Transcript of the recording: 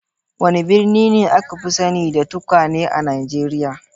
Wane birni ne aka fi sani da tukwane a Najeriya?